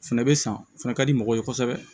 O fɛnɛ bɛ san o fana ka di mɔgɔw ye kosɛbɛ